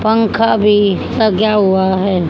पंखा भी लज्ञा हुआ है।